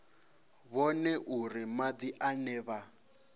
vhone uri madi ane vha